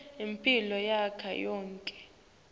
imphilo yami yonkhe